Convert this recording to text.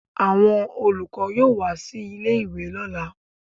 Àwọn olùkọ́ yóò wá sí ilé-ìwe lọ́là